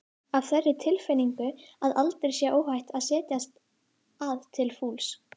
Af þeirri tilfinningu að aldrei sé óhætt að setjast að til fulls?